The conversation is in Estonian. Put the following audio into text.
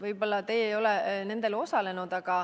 Võib-olla teie ei ole nendel osalenud.